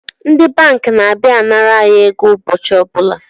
Ndi banki na-abịa anara anyi ego ụbọchị ọbụla